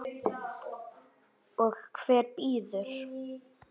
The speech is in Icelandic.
Og hver býður?